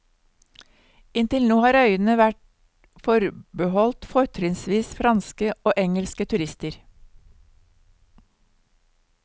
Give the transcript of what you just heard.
Inntil nå har øyene vært forbeholdt fortrinnsvis franske og engelske turister.